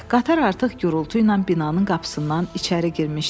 Qatar artıq gurultu ilə binanın qapısından içəri girmişdi.